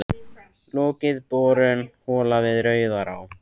Lokið borun holu við Rauðará í